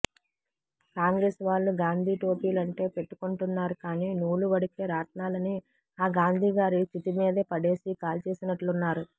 కాంగ్రెసు వాళ్ళు గాంధీ టోపీలంటే పెట్టుకుంటున్నారు కాని నూలు వడికే రాట్నాలని ఆ గాంధీగారి చితి మీదే పడేసి కాల్చేసినట్లున్నారు